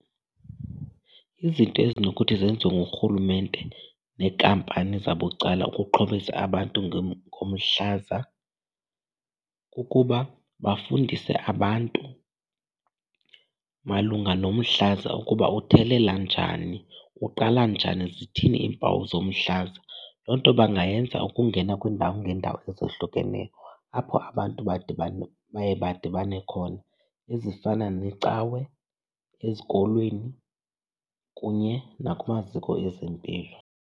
Izinto ezinokuthi zenziwe ngurhulumente neenkampani zabucala ukuxhobisa abantu ngomhlaza kukuba bafundise abantu malunga nomhlaza ukuba uthelela njani, uqala njani, zithini iimpawu zomhlaza. Loo nto bangayenza ukungena kwiindawo ngeendawo ezohlukeneyo apho abantu badibana baye badibane khona ezifana neecawe, ezikolweni kunye nakumaziko ezempilo.